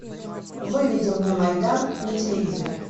выведи мне майдан на телевизоре